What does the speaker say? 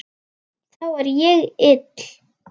Þá er ég ill.